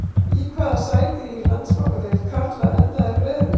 Í hvaða sæti í Landsbankadeild karla endaði Breiðablik?